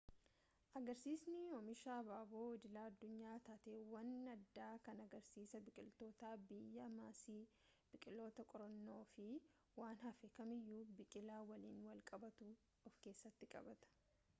agarsiisni oomisha abaaboo idila-addunyaa taateewwan addaa kan agariisa biqilootaa biyyaa maasii biqiloota qorannoo fi waan hafe kamiyyuu biqilaa waliin wal qabatu of-keessatti qabata